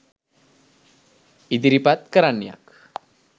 ඉදිරිපත් කරන්නියක්